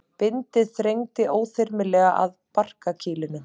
Bindið þrengdi óþyrmilega að barkakýlinu.